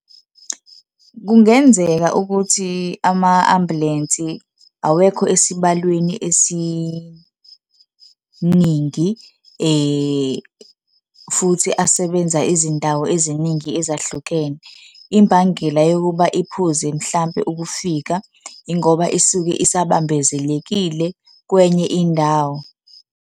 Kungenzeka ukuthi ama-ambulensi awekho esibalweni esiningi, futhi asebenza izindawo eziningi ezahlukene. Imbangela yokuba iphuze mhlampe ukufika ingoba isuke isabambezelekile kwenye indawo.